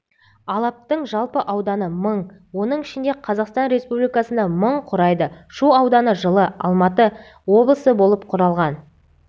алаптың жалпы ауданы мың оның ішінде қазақстан республикасында мың құрайды шу ауданы жылы алматы облысы болып құрылған